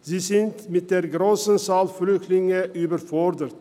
Sie sind mit der grossen Anzahl von Flüchtlingen überfordert.